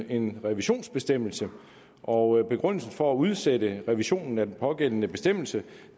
en revisionsbestemmelse og begrundelsen for at udsætte revisionen af den pågældende bestemmelse